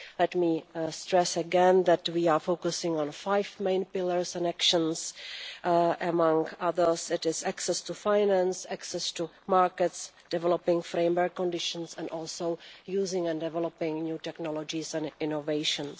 Let me stress again that we are focusing on five main pillars and actions, including access to finance, access to markets, developing framework conditions and also using and developing new technologies and innovations.